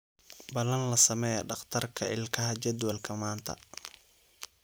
Balan la samee dhakhtarka ilkaha jadwalka maanta